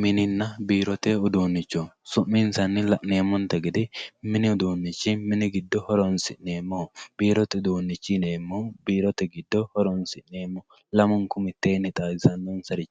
Mininna biirote uduuncho su'minsanni la'neemmote gede mini uduunchi mine horonsi'neemmoho, biirote uduunchi yineemmohu biirote giddo horonsi'neemmoho lamunku mitteenni xaadisanonsari